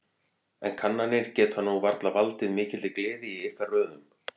En kannanir geta nú varla valdið mikilli gleði í ykkar röðum?